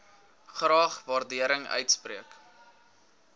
graag waardering uitspreek